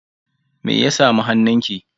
Me ya samu hannunki?